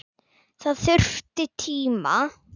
Það þurfti tíma.